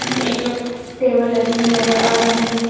एक टेबल लगी हुई नजर आ रही है।